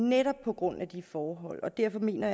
netop på grund af de forhold jeg mener